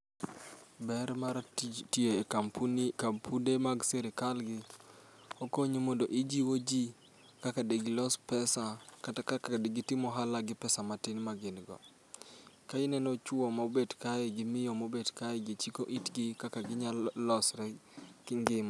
Ber mara tij tiyo e kampunde mag sirkal gi okonyo mondo ijiwo ji kaka digilos pesa, kata kaka digitim ohala gi pesa magin go. Koro ineno chuo mobet kaegi, gi miyo mobet kaegi chiko itgi kaka ginyalo losre gi ngima.